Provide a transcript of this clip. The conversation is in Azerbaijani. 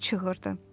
deyə çığırdı.